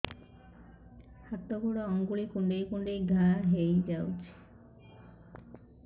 ହାତ ଗୋଡ଼ ଆଂଗୁଳି କୁଂଡେଇ କୁଂଡେଇ ଘାଆ ହୋଇଯାଉଛି